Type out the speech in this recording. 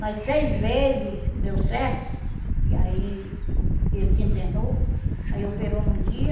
Nas seis vezes que deu certo, que aí ele se internou, aí operou num dia,